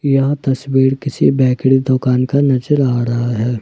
यह तस्वीर किसी बेकरी दुकान का नजर आ रहा है।